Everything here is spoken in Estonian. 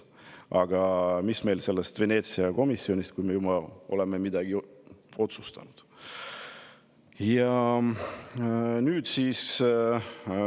Aga mis meil sellest Veneetsia komisjonist, kui me juba oleme midagi otsustanud!